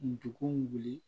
Ndugun wuli